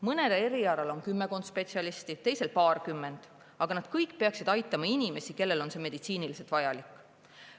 Mõnel erialal on kümmekond spetsialisti, teisel paarkümmend, aga nad kõik peaksid aitama inimesi, kellele on see meditsiiniliselt vajalik.